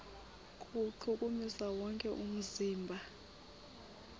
kuwuchukumisa wonke umzimba